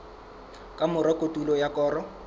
ka mora kotulo ya koro